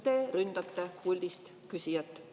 Te ründate puldist küsijat.